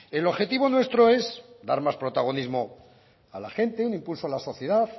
el objetivo nuestro es dar más protagonismo a la gente un impulso a la sociedad